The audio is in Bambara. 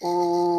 O